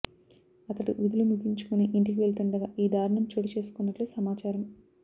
అతడు విధులు ముగించుకుని ఇంటికి వెళుతుండగా ఈ దారుణం చోటుచేసున్నట్లు సమాచారం